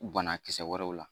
Banakisɛ wɛrɛw la